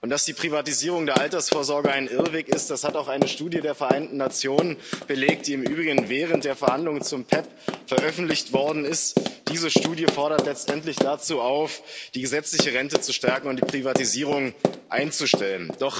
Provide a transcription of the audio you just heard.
Dass die Privatisierung der Altersvorsorge ein Irrweg ist, das hat auch eine Studie der Vereinten Nationen belegt, die im Übrigen während der Verhandlungen zum PEPP veröffentlicht worden ist. Diese Studie fordert letztendlich dazu auf, die gesetzliche Rente zu stärken und die Privatisierung einzustellen.